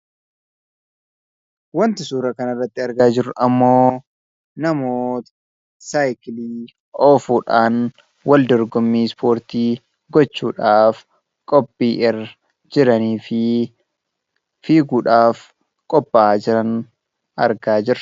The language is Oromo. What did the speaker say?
Kan suura kana irratti argamu namoota biskileettii oofuun wal dorgomaa jiranii dha. Isaannis fiiguudhaaf kan qopha'aa jiranii dha.